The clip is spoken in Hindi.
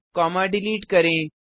कॉमा डिलीट करें